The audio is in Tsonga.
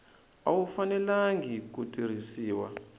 a wu fanelangi ku tirhisiwa